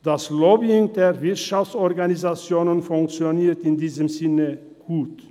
Das Lobbying der Wirtschaftsorganisationen funktioniert in diesem Sinne gut.